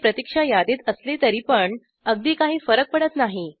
ते प्रतिक्षा यादीत असले तरी पण अगदी काही फरक पडत नाही